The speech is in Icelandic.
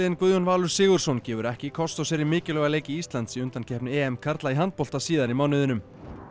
Guðjón Valur Sigurðsson gefur ekki kost á sér í mikilvæga leiki Íslands í undankeppni karla í handbolta síðar í mánuðinum